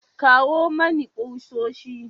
Kawo mani kusoshi.